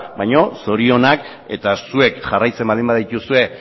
baina zorionak eta zuek jarraitzen baldin badituzue